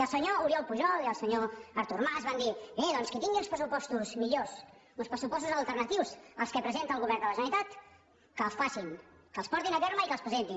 el senyor oriol pujol i el senyor artur mas van dir bé doncs qui tingui uns pressupostos millors uns pressupostos alternatius als que presenta el govern de la generalitat que els facin que els portin a terme i que els presentin